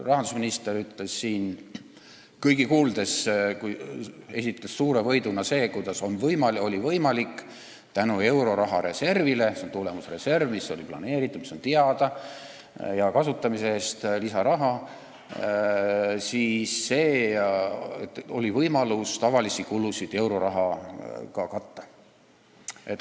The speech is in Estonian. Rahandusminister esitas siin kõigi kuuldes suure võiduna seda, kuidas oli võimalik tänu euroraha reservile – see on tulemusreserv, mis oli planeeritud, oli teada, et hea kasutamise eest saab lisaraha – tavalisi kulusid eurorahaga katta.